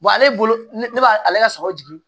ale bolo ne b'a ale ka sagaw jigin